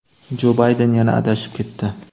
Jo Bayden yana adashib ketdi.